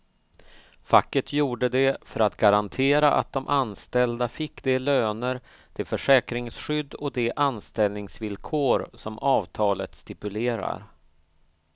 Facket gjorde det för att garantera att de anställda fick de löner, det försäkringsskydd och de anställningsvillkor som avtalet stipulerar.